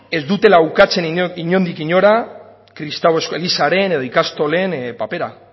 ez dutela ukatzen inondik inora kristau elizaren edo ikastolen papera